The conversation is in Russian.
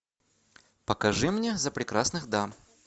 покажи мне за прекрасных дам